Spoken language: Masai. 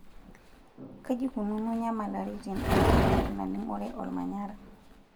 Kajii eikununo nyamaliritin enkiremore naning'ore ormanyara.